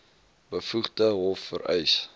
bevoegde hof vereis